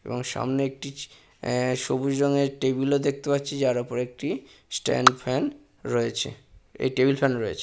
এবং সামনে একটি এ সবুজ রঙের টেবিল ও দেখতে পাচ্ছি যার ওপর একটি স্ট্যান্ড ফ্যান রয়েছে এই টেবিল ফ্যান রয়েছে।